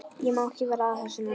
Ég má ekki vera að þessu núna.